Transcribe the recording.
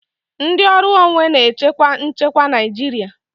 Ndị ọrụ onwe na-echekwa nchekwa Naijiria.